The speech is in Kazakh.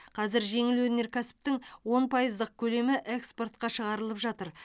қазір жеңіл өнеркәсіптің он пайыздық көлемі экспортқа шығарылып жатыр